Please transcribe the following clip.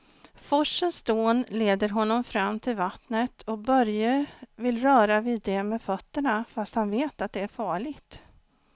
Forsens dån leder honom fram till vattnet och Börje vill röra vid det med fötterna, fast han vet att det är farligt.